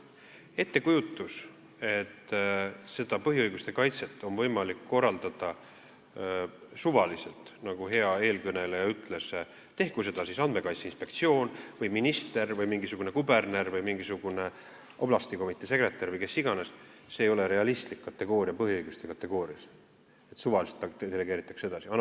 Ettekujutus, et põhiõiguste kaitset on võimalik korraldada suvaliselt, nagu hea eelkõneleja ütles, tehku seda siis Andmekaitse Inspektsioon, minister, mingisugune kuberner, mingisugune oblastikomitee sekretär või kes iganes – põhiõiguste kategoorias ei ole realistlik, et suvaliselt delegeeritakse midagi edasi.